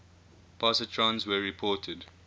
positrons were reported